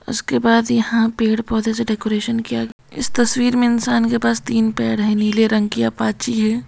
उसके बाद यहां पेड़ पौधे से डेकोरेशन किया इस तस्वीर में इंसान के पास तीन पेड़ है नीले रंग की अपाची है।